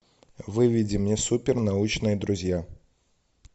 выведи мне супер научные друзья